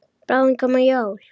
Bráðum koma jól.